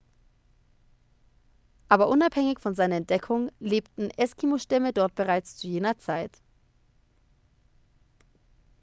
aber unabhängig von seiner entdeckung lebten eskimo-stämme dort bereits zu jener zeit